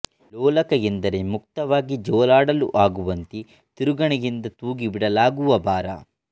ಲೋಲಕ ಎಂದರೆ ಮುಕ್ತವಾಗಿ ಜೋಲಾಡಲು ಆಗುವಂತೆ ತಿರುಗಣೆಯಿಂದ ತೂಗಿಬಿಡಲಾಗುವ ಭಾರ